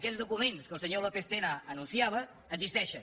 aquests documents que el senyor lópez tena anunciava existeixen